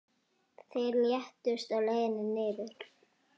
Þeir létust á leið niður.